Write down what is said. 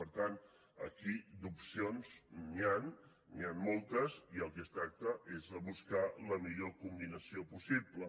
per tant aquí d’opcions n’hi han n’hi han moltes i del que es tracta és de buscar la millor combinació possible